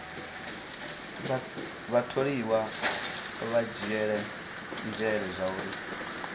vhatholiwa vha dzhiele nzhele zwauri